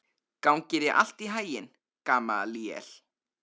Gangi þér allt í haginn, Gamalíel.